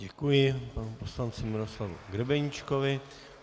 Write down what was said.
Děkuji panu poslanci Miroslavu Grebeníčkovi.